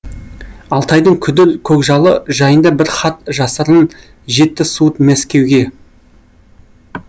алтайдың күдір көкжалыжайында бір хат жасырын жетті суыт мәскеуге